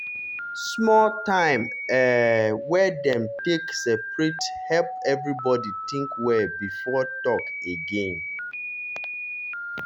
small time um wey dem take separate help everybody think well before talk again. talk again.